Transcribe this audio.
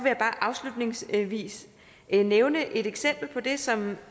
jeg bare afslutningsvis nævne et eksempel på det som